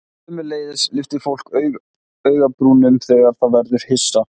Sömuleiðis lyftir fólk augabrúnunum þegar það verður hissa.